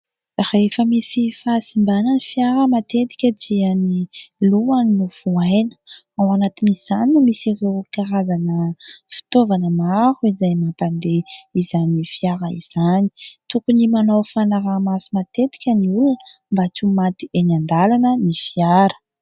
Rehefa misy fahasimbana ny fiara matetika dia ny lohany no vohaina. Ao anatin' izany no misy ireo karazana fitovana maro izay mampandeha izany fiara izany. Tokony manao fanarahamaso matetika ny olona mba tsy ho maty eny andalana ny fiara.